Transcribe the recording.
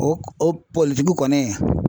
O o politigi kɔni